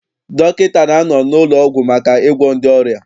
Dọkịta na-anọ n'ụlọọgwụ maka ịgwọ ndị ọrịa.